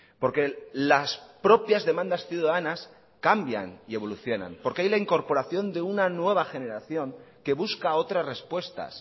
porque las propias demandas ciudadanas cambian y evolucionan porque hay la incorporación de una nueva generación que busca otras respuestas